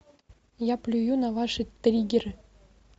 я плюю на ваши триггеры